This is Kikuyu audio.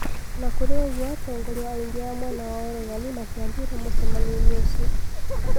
Onakurĩ unguo atongoria aingĩ a mwena wa uregani matiathire mũcemanionĩ ũcio